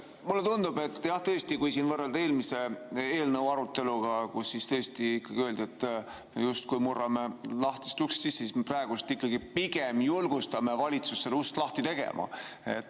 Mulle tundub, et jah, tõesti, kui siin võrrelda eelmise eelnõu aruteluga, kus ikkagi öeldi, et me justkui murrame lahtisest uksest sisse, siis praegu pigem julgustame valitsust seda ust lahti tegema.